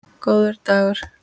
Góður dagur!